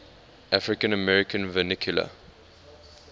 african american vernacular